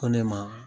Ko ne ma